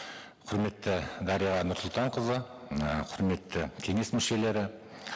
құрметті дариға нұрсұлтанқызы і құрметті кеңес мүшелері